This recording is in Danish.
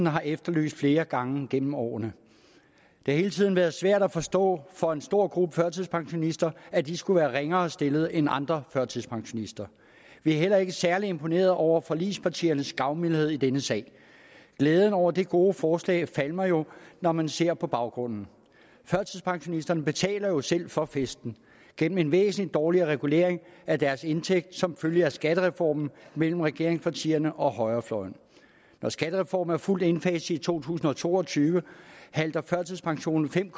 har efterlyst flere gange gennem årene det har hele tiden været svært at forstå for en stor gruppe førtidspensionister at de skulle være ringere stillet end andre førtidspensionister vi er heller ikke særlig imponeret over forligspartiernes gavmildhed i denne sag glæden over det gode forslag falmer jo når man ser på baggrunden førtidspensionisterne betaler jo selv for festen gennem en væsentlig dårligere regulering af deres indtægt som følge af skattereformen mellem regeringspartierne og højrefløjen når skattereformen er fuldt indfaset i to tusind og to og tyve halter førtidspensionen fem